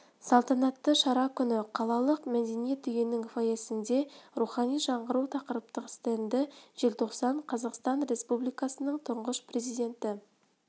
салтанатты шара күні қалалық мәдениет үйінің фойесінде рухани жаңғыру тақырыптық стенді желтоқсан қазақстан республикасының тұңғыш президенті